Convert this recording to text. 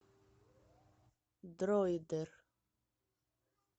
дроидер